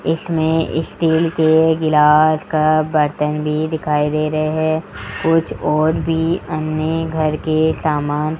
इसमें स्टिल के गिलास का बर्तन भी दिखाई दे रहे है कुछ और भी अन्य घर के सामान --